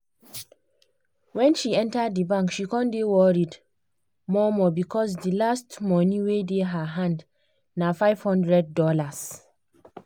wen she enter di bank she come dey worried more-more becos di last money wey dey her hand na $500.